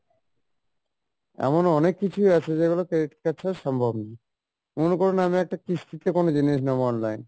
এমনও অনেক কিছুই আছে যেগুলো credit card ছাড়া সম্ভব নয় মনে করুন আমি একটা কিস্তি তে কোনো জিনিস নিবো online